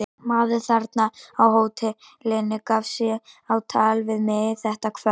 Maður þarna á hótelinu gaf sig á tal við mig þetta kvöld.